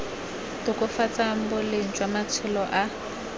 tokafatsang boleng jwa matshelo a